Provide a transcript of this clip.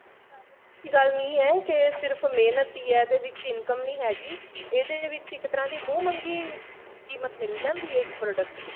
ਕੋਈ ਐਸੀ ਗੱਲ ਨਹੀਂ ਹੈ ਕੇ ਸਿਰਫ ਮਿਹਨਤ ਹੀ ਐ ਇਹਦੇ ਵਿੱਚ income ਨਹੀਂ ਹੈਗੀ ਇਹਦੇ ਵਿੱਚ ਇੱਕ ਤਰ੍ਹਾਂ ਦੀ ਮੂੰਹ ਮੰਗੀ ਕੀਮਤ ਮਿਲ ਜਾਂਦੀ ਹੈ ਇਕੱ product ਦੀ